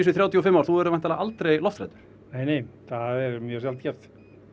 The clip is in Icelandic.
þrjátíu og fimm ár þú verður væntanlega aldrei lofthræddur nei nei það er mjög sjaldgæft